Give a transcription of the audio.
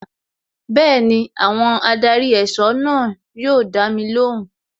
Bẹẹni, àwọn adarí ẹ̀sọ́ náà yóò dami lóhùn.